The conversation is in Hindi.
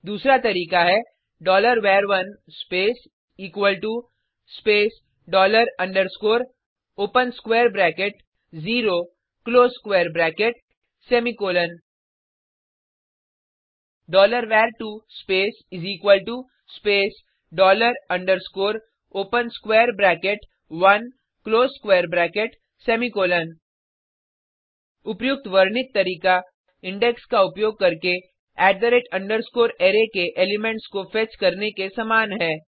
दूसरा तरीका है var1 space space dollar underscore open square bracket zero close square bracket semicolon var2 space space dollar underscore open square bracket 1क्लोज स्क्वेर ब्रेकेट सेमीकॉलन उपर्युक्त वर्णित तरीका इंडेक्स का उपयोग करके अराय के एलिमेंट्स को फेच करने के समान है